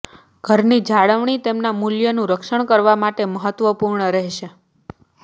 ઘરની જાળવણી તેના મૂલ્યનું રક્ષણ કરવા માટે મહત્વપૂર્ણ રહેશે